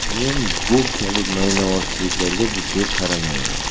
Men bu kabi maynavozchiliklarga jiddiy qaramayman.